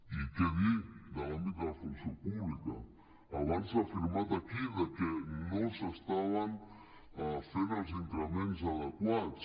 i què dir de l’àmbit de la funció pública abans s’ha afirmat aquí que no s’estaven fent els increments adequats